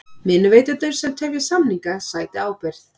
Vinnuveitendur sem tefja samninga sæti ábyrgð